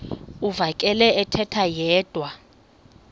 uvakele ethetha yedwa